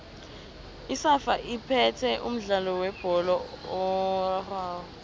isafa iphethe umdlalo webholo erarhwako